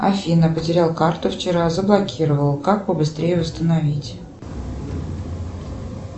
афина потерял карту вчера заблокировал как побыстрее восстановить